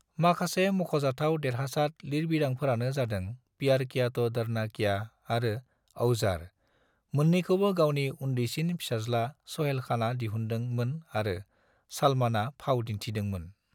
माखासे मख'जाथाव देरहासाद लिरबिदांफोरानो जादों प्यार किया तो डरना क्या आरो औजार, मोननैखौबो गावनि उनदैसिन फिसाज्ला स'हेल खाना दिहुनदों मोन आरो सलमाना फाव दिनथिदों मोन ।